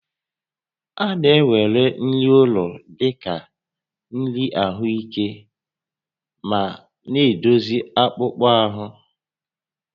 A na-ewere nri ụlọ dị ka nri ahụike ma na-edozi akpụkpọ ahụ